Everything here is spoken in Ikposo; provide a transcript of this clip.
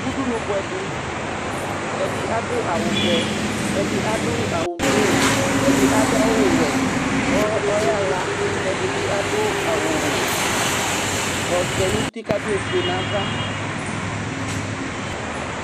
Udunu bʋɛ dɩ Ɛdɩ adʋ awʋvɛ, ɛdɩ adʋ awʋblʋ, ɛdɩ adʋ awʋwɛ kʋ ɔyaɣa kɛ ɛdɩ bɩ adʋ awʋ ɔvɛ nʋ uti kʋ adʋ ofue nʋ ava